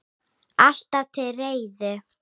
Alltaf til reiðu!